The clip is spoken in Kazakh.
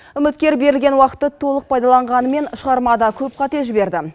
үміткер берілген уақытты толық пайдаланғанымен шығармада көп қате жіберді